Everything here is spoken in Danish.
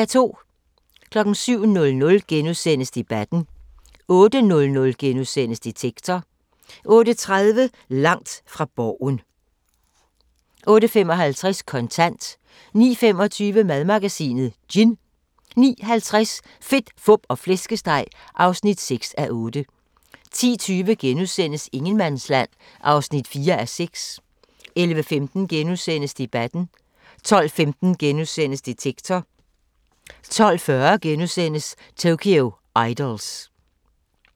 07:00: Debatten * 08:00: Detektor * 08:30: Langt fra Borgen 08:55: Kontant 09:25: Madmagasinet: Gin 09:50: Fedt, Fup og Flæskesteg (6:8) 10:20: Ingenmandsland (4:6)* 11:15: Debatten * 12:15: Detektor * 12:40: Tokyo Idols *